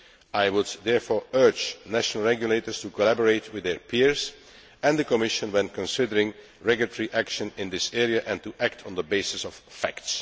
I would therefore urge national regulators to collaborate with their peers and the Commission when considering regulatory action in this area, and to act on the basis of facts.